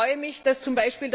Ich freue mich, dass z.